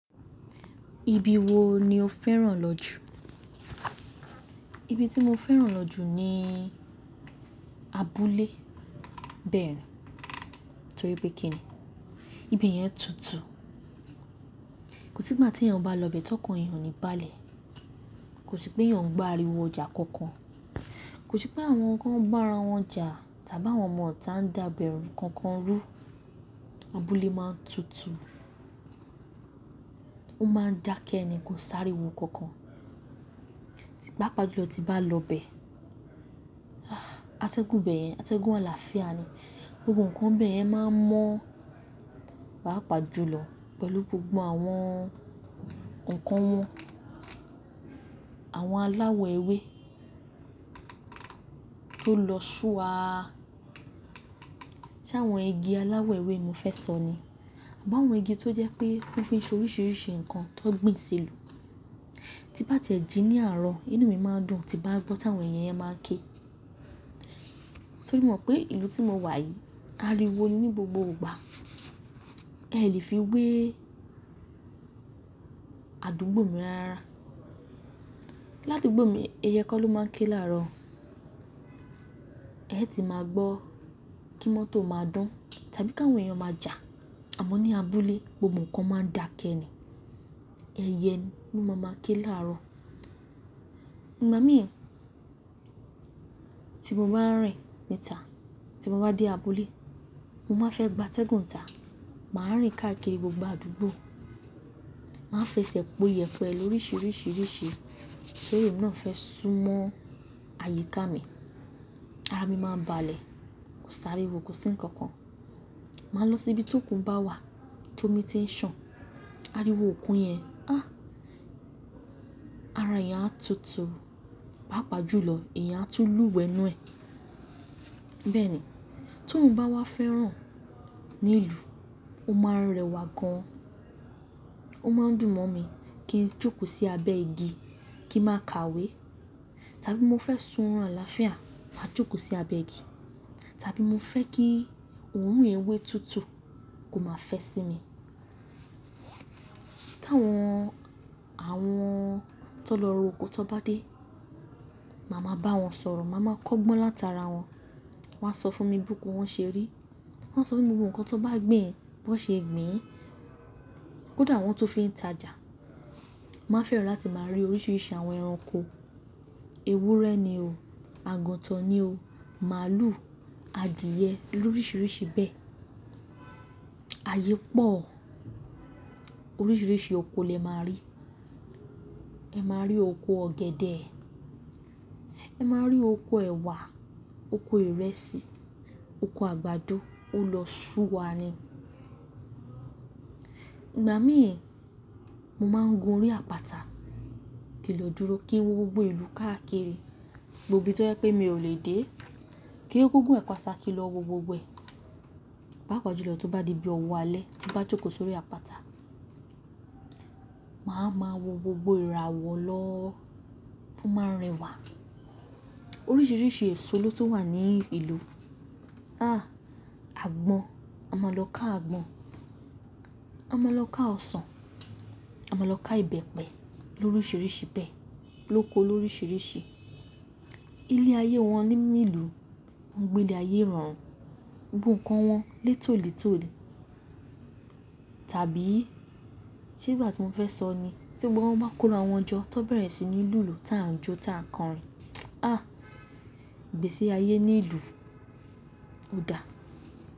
Ibi wo ni o fẹ́ràn lọ jù? Ibi tí mo fẹ́ràn lọ jù ni abúlé bẹ́ẹ̀ ni, torí pé kí ni, ibi yẹn tutù. Kò sí ìgbà tí èèyàn bá lọ bẹ̀ tọ́ kàn èyàn ó ní balẹ̀. Kò sí pé èyàn ń gbo ariwo ọjà kankan. Kò sí pé àwọn kan ń gbá ara wọn jà tàbí àwọn ọmọ tá ń dàbẹ́rú kankan rú. Abúlé máa ń tutù. Ó máa ń dákẹ́ ni kó sáré wo kankan. Pápà jùlọ tí bá lọ bẹ̀, atẹ́gùn bẹ́ẹ̀ yẹn, atẹ́gùn àlàáfíà ni. Gbogbo nǹkan bẹ́ẹ̀ yẹn máa ń mọ́ pápà jùlọ pẹ̀lú gbogbo àwọn nǹkan wọn. Àwọn aláwọ̀ ewé tó lọ sú wa, sé àwọn igi aláwọ̀ ewé mi fẹ́ sọ ni. Àbí àwọn igi tó jẹ́ pé ó fi ń ṣe oríṣiríṣi nǹkan tó gbìn selu. Ti bá ti ẹ̀ jí ní àárọ̀, inú mi máa ń dùn tí bá gbọ́ táwọn èyè yẹn máa ń ké. Torí mo mọ̀ pé ìlú tí mo wà yìí ariwo ní ni gbogbo ìgbà. Ẹ lè fi wé àdúgbò mi ràrá rárá Ládu gbò mi i, ẹyẹ kó ló máa ń ké láàárọ̀. Ẹ́ ti máa gbọ́ kí mọ́tò máa dún tàbí kà wọn èyàn máa jà. Àmọ́ ní abúlé, gbogbo nǹkan máa ń dákẹ́ ẹ ni. Ẹyẹ ló máa máa ké láàárọ̀. Ìgbà mí, tí mo bá rìn níta, tí mo bá dé abúlé, mo máa fẹ́ gbátẹ́gùn tà. Màá rìn káàkiri gbogbo àdúgbò. Màá fẹsẹ̀ po ìyẹ̀pẹ̀ lóríṣiríṣi ríṣe torí emi náà fẹ́ sún mọ́ àyíká mi. Ara mi máa ń baálẹ̀, kò sári kó sí nkankan. Màá lọ síbi tí òkun bá wà tí ómi ti ń sàn. Ariwo òkun yẹn, ah! Ara èèyàn á tutù pápàjùlọ èèyàn á tú lúwẹ̀ẹ́nú ẹ. Bẹ́ẹ̀ ni, tóun bá wá fẹ́ràn ní ìlú, ó máa ń rẹwà gan. Ó máa ń dùn mọ́ mi kí n jókòó sí abẹ́ igi kí n máa ka ìwé tàbí mo fẹ́ sun àlàáfíà, màá jókòó sí abẹ́ igi tàbí mo fẹ́ kí òórùn ewé tútù kó máa fẹ́ sí mi. Tí àwọn, àwọn tó lọ ro oko tó bá dé, màá ma bá wọn sọ̀rọ̀. Màá ma kọ́gbọ́n látara wọn. Wọn á sọ fún mi bí ko wọn ṣe rí. Wọn á sọ fún mi gbogbo nǹkan tó bá gbin, bó ṣe gbìn ín. Kódà wọn tú fi ń tajà, màá fẹ́ràn la tí màá rí oríṣiríṣi àwọn ẹranko. Ewúrẹ́ ni o. Agantàn ni o. Màlúù, adìyẹ, lóríṣiríṣi bẹ́ẹ̀. Ayépọ̀. Oríṣiríṣi oko lè máa rí. Ẹ máa rí oko ọ̀gẹ̀dẹ̀. Ẹ máa rí oko ẹ̀wà, oko ìrẹsì, oko àgbàdo, ó lọ sú wa ni. Ìgbà mí ẹ̀, mo máa ń gun orí àpáta kí n ló dúró kí n wo gbogbo ìlú káàkiri. Gbogbo ibi tó jẹ́ pé mi ò lè dé. Kí ń kú kú gùn àpáta kí n lọ wo gbogbo ẹ̀. Pápà jùlọ tí ó bá di bí owó alẹ́, tí bá jókòó sórí àpáta, màá ma wo gbogbo ìràwọ̀ lọ ó máa ń rẹwà. Oríṣiríṣi èso ló ti wà ní ìlú. Àgbọn, a máa lọ ká àgbọn. A máa lọ ká ọsàn. A máa lọ ká ìbẹ́pẹ lóríṣiríṣi bẹ́ẹ̀ lóko lóríṣiríṣi. Ilé ayé wọn nínú ìlú, wón gbé ilé ayé irorun, gbogbo nǹkan wọn létòlètò ní. Tàbí, ṣé ìgbà tí mo fẹ́ sọ ni, tí gbogbo wọn bá kó ara wọn jọ tó bẹ̀rẹ̀ sí ní lùlù táa ń jó táa ń kọrin. Gbe sí ayé ní ìlú, ó dáa.